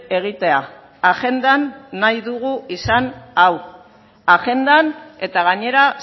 egitea agendan nahi dugu izan hau agendan eta gainera